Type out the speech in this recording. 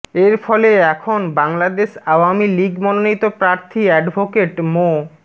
এর ফলে এখন বাংলাদেশ আওয়ামী লীগ মনোনীত প্রার্থী অ্যাডভোকেট মো